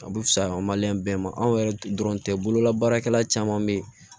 A bɛ fisa an ma bɛɛ ma anw yɛrɛ dɔrɔn tɛ bolola baarakɛla caman bɛ ye